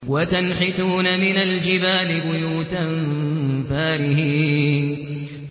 وَتَنْحِتُونَ مِنَ الْجِبَالِ بُيُوتًا فَارِهِينَ